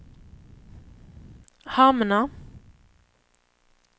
hamna